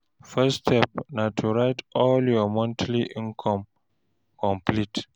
First step na to write all your monthly income complete